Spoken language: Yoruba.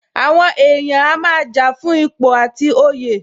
Àwọn èèyàn a máa jà fún ipò àti oyè